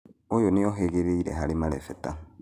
ũyũ nĩohĩgĩrĩire harĩ marebeta